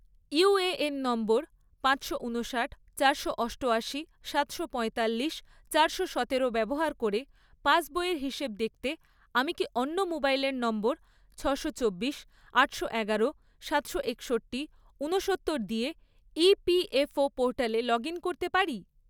UAN number পাঁচশো উনষাট, চারশো অষ্টয়াশি, সাতশো পঁয়তাল্লিশ, চারশো সতেরো ব্যবহার করে পাসবইয়ের হিসেব দেখতে আমি কি অন্য মোবাইল নম্বর ছশো চব্বিশ, আটশো এগারো, সাতশো একষট্টি, উনসত্তর দিয়ে ইপিএফও ​পোর্টালে লগ ইন করতে পারি?